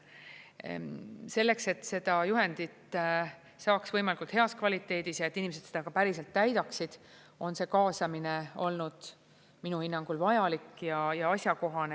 Selleks, et seda juhendit saaks võimalikult heas kvaliteedis ja et inimesed seda ka päriselt täidaksid, on see kaasamine olnud minu hinnangul vajalik ja asjakohane.